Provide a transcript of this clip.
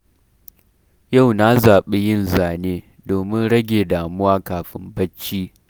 Yau na zaɓi yin zane, domin rage damuwa kafin barci.